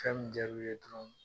Fɛn mun jar'u ye dɔrɔn